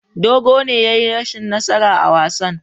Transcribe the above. Dogo ne ya yi rashin nasara a wasan.